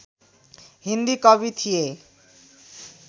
हिन्दी कवि थिए